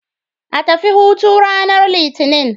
A tafi hutu ranar Litinin.